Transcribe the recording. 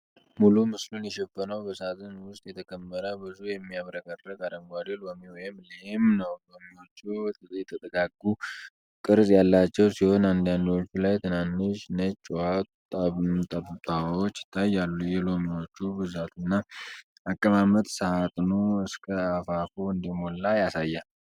ሙሉ ምስሉን የሸፈነው በሳጥን ውስጥ የተከመረ ብዙ የሚያብረቀርቅ አረንጓዴ ሎሚ (ሊም) ነው። ሎሚዎቹ የተጠጋጉ ቅርፅ ያላቸው ሲሆን፣ አንዳንዶቹ ላይ ትናንሽ ነጭ የውሃ ጠብታዎች ይታያሉ። የሎሚዎቹ ብዛትና አቀማመጥ ሳጥኑ እስከ አፋፉ እንደሞላ ያሳያል።